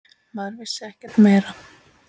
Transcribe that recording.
Maður vissi ekkert meira.